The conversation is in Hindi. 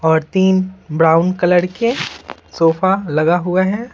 और तीन ब्राउन कलर के सोफा लगा हुआ है।